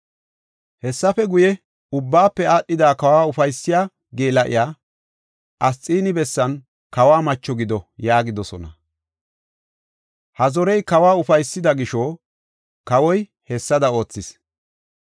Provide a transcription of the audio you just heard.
Hessafe guye, ubbaafe aadhada kawa ufaysiya geela7iya Asxiini bessan kawo macho gido” yaagidosona. Ha zorey kawa ufaysida gisho, kawoy hessada oothis.